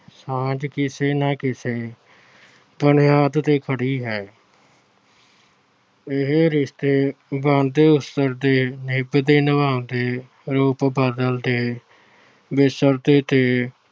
ਸਮਝ ਕਿਸੇ ਨਾ ਕਿਸੇ ਬੁਨਿਆਦ ਤੇ ਖੜ੍ਹੀ ਹੈ। ਇਹ ਰਿਸ਼ਤੇ ਬਣਦੇ-ਉਸਰਦੇ, ਨਿਭਦੇ-ਨਿਭਾਉਂਦੇ, ਰੂਪ ਬਦਲਦੇ, ਵਿਸਰਦੇ ਤੇ